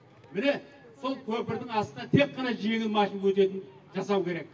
міне сол көпірдің астынан тек қана жеңіл машина өтетін жасау керек